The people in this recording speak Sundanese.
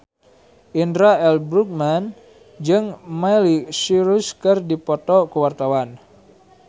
Indra L. Bruggman jeung Miley Cyrus keur dipoto ku wartawan